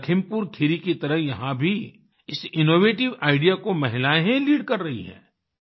लखीमपुर खीरी की तरह यहाँ भी इस इनोवेटिव आईडीईए को महिलाएं ही लीड कर रही हैं